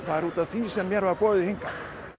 það er út af því sem mér er boðið hingað